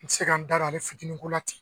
N tɛ se ka' n da ale fitininkola ten